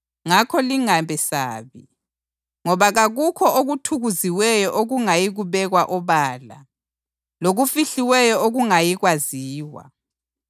Ngakho lingabesabi. Ngoba kakukho okuthukuziweyo okungayi kubekwa obala, lokufihliweyo okungayikwaziwa.